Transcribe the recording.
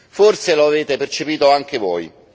Forse lo avete percepito anche voi.